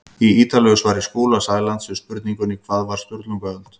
Í ítarlegu svari Skúla Sælands við spurningunni Hvað var Sturlungaöld?